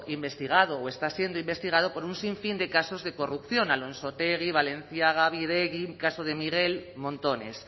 investigado o está siendo investigado por un sinfín de casos de corrupción alonsotegi balenciaga bidegi caso de miguel montones